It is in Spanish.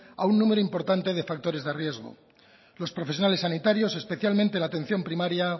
a un número importante de factores de riesgo los profesionales sanitarios especialmente la atención primaria